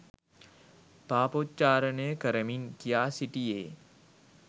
පාපොච්චාරනය කරමින් කියා සිටියේ